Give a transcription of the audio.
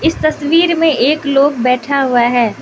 इस तस्वीर में एक लोग बैठा हुआ है।